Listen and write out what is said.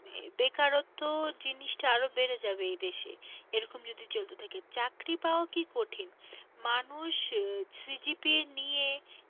বেকারত্ব জিনিসটা আরো বেড়ে যাবে এই দেশে এরকম যদি চলতে থাকে চাকরি পাওয়া কি কঠিন? মানুষ CGPA নিয়ে,